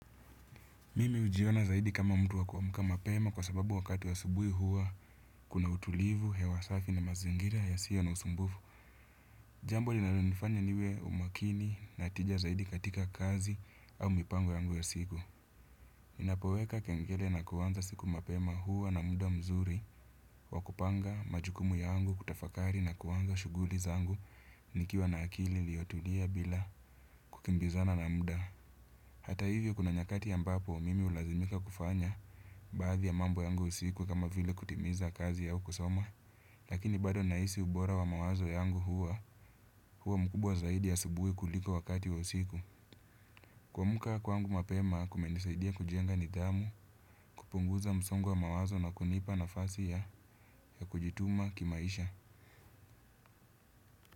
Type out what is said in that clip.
Mimi hujiona zaidi kama mtu wa kuamka mapema kwa sababu wakati wa asubui huwa kuna utulivu, hewa safi na mazingira isiyo na usumbufu. Jambo linalo nifanya niwe umakini na tija zaidi katika kazi au mipango yangu ya siku. Ninapoweka kengele na kuanza siku mapema hua na muda mzuri wa kupanga majukumu yangu kutafakari na kuanza shughuli zangu nikiwa na akili iliyotulia bila kukimbizana na muda. Hata hivyo kuna nyakati mbapo mimi hulazimika kufanya baadhi ya mambo yangu usiku kama vile kutimiza kazi haukusoma. Lakini bado nahisi ubora wa mawazo yangu huwa huwa mkubwa zaidi ya asubuhi kuliko wakati wa usiku. Kuamka kwaangu mapema kumenisaidia kujenga nidhamu kupunguza msongo wa mawazo na kunipa nafasi ya ya kujituma kimaisha.